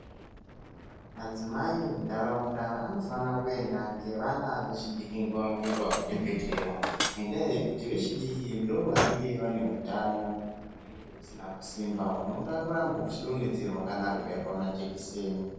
Madzimai emuntaraunda anofana kuenda ngevana vechidiki nguwa ngenguwa kuchibhedhlera ngendaa yekuti vechidiki ndivo vanenge vanehutano hunenge husina kusimba . Hunoda kuramba uchidonhedzerwa kana kubairwa majekiseni